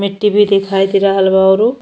मिट्टी भी दिखाई दे रहल बा औरु।